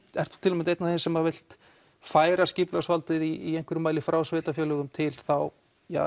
ert þú til að mynda einn af þeim sem vilt færa skipulagsvaldið í einhverjum mæli frá sveitarfélögum og til þá